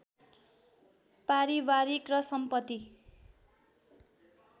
पारिवारिक र सम्पत्ति